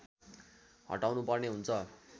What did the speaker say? हटाउनुपर्ने हुन्छ